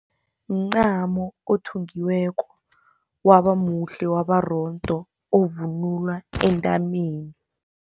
Mncamo othungiweko wabamuhle, wabarondo, ovunulwa entameni.